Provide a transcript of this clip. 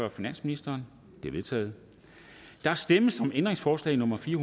af finansministeren de er vedtaget der stemmes om ændringsforslag nummer fire